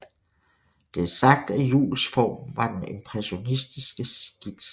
Det er sagt at Juuls form var den impressionistiske skitse